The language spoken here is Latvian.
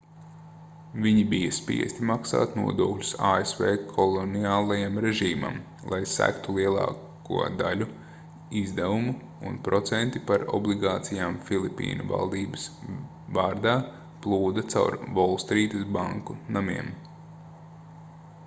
viņi bija spiesti maksāt nodokļus asv koloniālajam režīmam lai segtu lielāko daļu izdevumu un procenti par obligācijām filipīnu valdības vārdā plūda caur volstrītas banku namiem